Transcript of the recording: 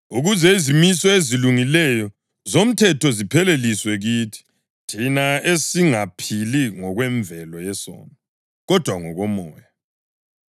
ukuze izimiso ezilungileyo zomthetho zipheleliswe kithi, thina esingaphili ngokwemvelo yesono, kodwa ngokoMoya.